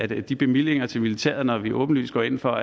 de bevillinger til militæret når vi åbenlyst går ind for